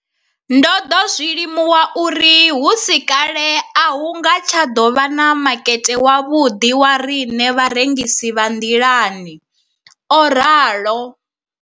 Ndo ḓo zwi limuwa uri hu si kale a hu nga tsha ḓo vha na makete wavhuḓi wa riṋe vharengisi vha nḓilani, o ralo.